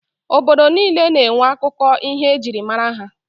Obodo niile na-enwe akụkọ ihe e jiri mara ha.